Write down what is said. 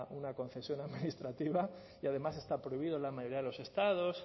una concesión administrativa y además está prohibido en la mayoría de los estados